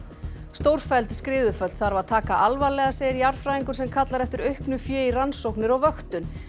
stórfelld skriðuföll þarf að taka alvarlega segir jarðfræðingur sem kallar eftir auknu fé í rannsóknir og vöktun